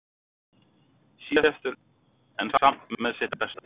Síðastur en samt með sitt besta